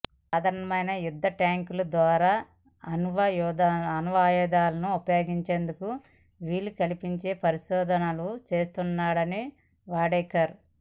సాధారణమైన యుద్ధ ట్యాంకుల ద్వారా అణ్వాయుధాలను ప్రయోగించేందుకు వీలు కల్పించే పరిశోధనలు చేస్తున్నాడు వాడేకర్